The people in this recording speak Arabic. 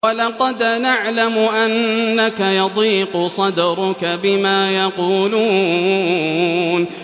وَلَقَدْ نَعْلَمُ أَنَّكَ يَضِيقُ صَدْرُكَ بِمَا يَقُولُونَ